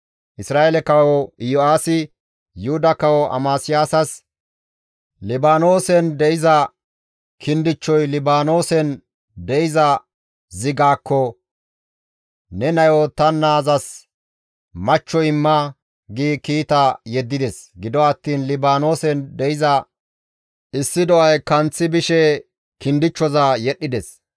Isra7eele kawo Iyo7aasi Yuhuda kawo Amasiyaasas, «Libaanoosen de7iza kindichchoy Libaanoosen de7iza zigaakko, ‹Ne nayo ta naazas machcho imma› gi kiita yeddides; gido attiin Libaanoosen de7iza issi do7ay kanththi bishe kindichchoza yedhdhides.